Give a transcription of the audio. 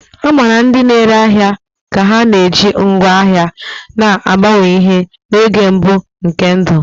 A maara ndị na-ere ahịa ka ha na-eji ngwá ahịa na-agbanwe ihe n'oge mbụ nke ndụ.